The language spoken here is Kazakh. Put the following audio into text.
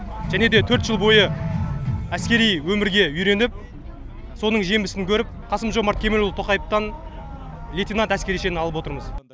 және де төрт жыл бойы әскери өмірге үйреніп соның жемісін көріп қасым жомарт кемелұлы тоқаевтан лейтенант әскери шенін алып отырмыз